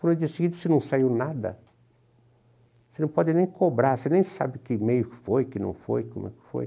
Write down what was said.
No dia seguinte, se não saiu nada, você não pode nem cobrar, você nem sabe que e-mail foi, que não foi, como é que foi.